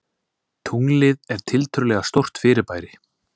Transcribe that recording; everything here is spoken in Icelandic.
Tunglið er tiltölulega stórt fyrirbæri.